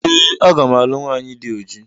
Ee aga m alụ nwanyị dị oji